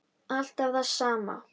Alltaf það sama.